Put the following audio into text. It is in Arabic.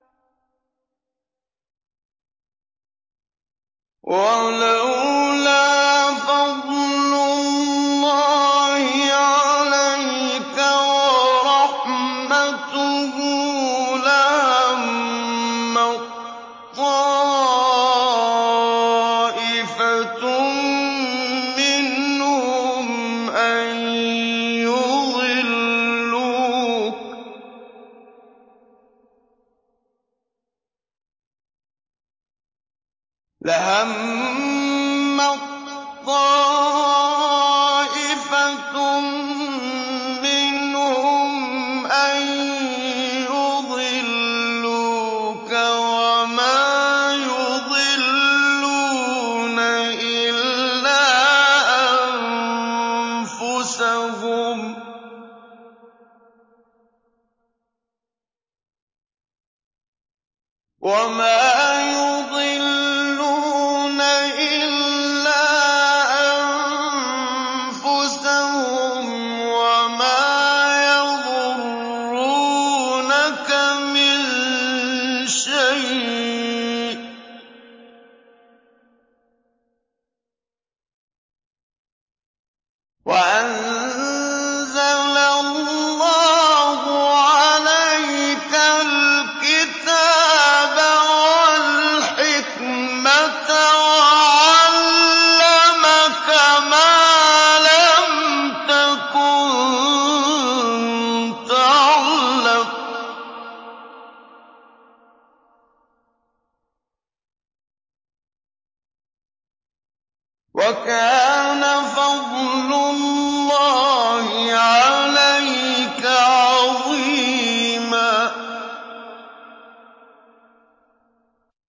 وَلَوْلَا فَضْلُ اللَّهِ عَلَيْكَ وَرَحْمَتُهُ لَهَمَّت طَّائِفَةٌ مِّنْهُمْ أَن يُضِلُّوكَ وَمَا يُضِلُّونَ إِلَّا أَنفُسَهُمْ ۖ وَمَا يَضُرُّونَكَ مِن شَيْءٍ ۚ وَأَنزَلَ اللَّهُ عَلَيْكَ الْكِتَابَ وَالْحِكْمَةَ وَعَلَّمَكَ مَا لَمْ تَكُن تَعْلَمُ ۚ وَكَانَ فَضْلُ اللَّهِ عَلَيْكَ عَظِيمًا